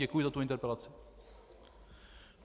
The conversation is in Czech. Děkuji za tu interpelaci.